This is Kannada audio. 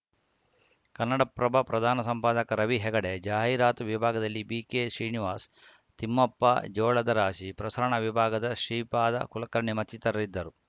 ಕನ್ನಡಪ್ರಭ ಪ್ರಧಾನ ಸಂಪಾದಕ ರವಿ ಹೆಗಡೆ ಜಾಹೀರಾತು ವಿಭಾಗದಲ್ಲಿ ಬಿಕೆಶ್ರೀನಿವಾಸ ತಿಮ್ಮಪ್ಪ ಜೋಳದರಾಶಿ ಪ್ರಸರಣ ವಿಭಾಗದ ಶ್ರೀಪಾದ ಕುಲಕರ್ಣಿ ಮತ್ತಿತರರಿದ್ದರು